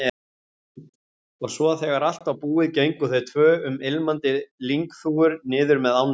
Og svo þegar allt var búið gengu þau tvö um ilmandi lyngþúfur niður með ánni.